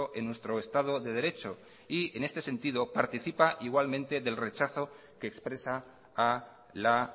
en nuestro estado de derecho y en este sentido participa igualmente del rechazo que expresa a la